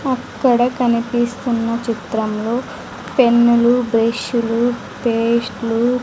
అక్కడ కనిపిస్తున్న చిత్రంలో పెన్నులు బ్రష్ లు పేస్టులు --